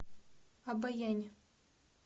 обоянь